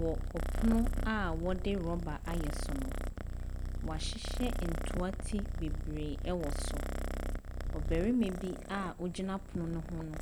Wɔ ɔpono a wɔde rɔba ayɛ so no, wɔahyehyɛ ntoa ti bebree wɔ so, ɔbarima bi a ogyina pono ne ho no